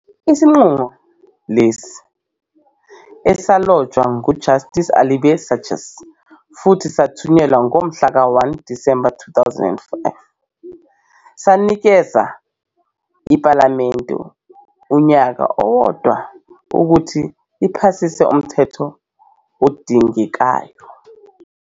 Isinqumo lesi, esalotshwa nguJustice Albie Sachs futhi sathunyelwa ngomhlaka 1 Disemba 2005, sanikeza iPhalamende unyaka owodwa ukuthi liphasise umthetho odingekayo.